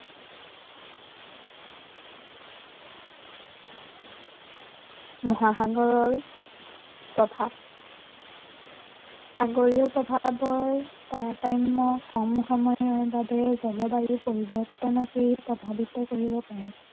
মহাসাগৰৰ, তথা সাগৰীয় প্ৰভাৱৰ তাৰতাম্য়ৰ কম সময়ৰ বাবে জলবায়ু পৰিৱৰ্তনক সি প্ৰভাৱিত কৰিব পাৰে।